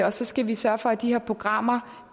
og så skal vi sørge for at de her programmer